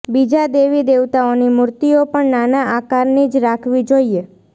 બીજા દેવી દેવતાઓની મૂર્તિઓ પણ નાના આકારની જ રાખવી જોઈએ